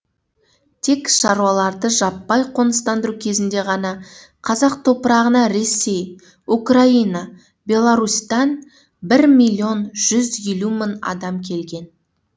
тек шаруаларды жаппай қоныстандыру кезінде ғана қазақ топырағына ресей украина беларусьтан бір миллион жүз елу мың адам келген